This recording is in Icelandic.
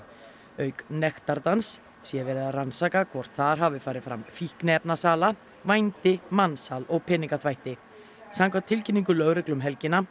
auk nektardans sé verið að rannsaka hvort þar hafi farið fram fíkniefnasala vændi mansal og peningaþvætti samkvæmt tilkynningu lögreglu um helgina